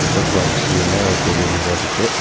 Jump park கீழ ஒரு பெரிய மிரர்ருக்கு .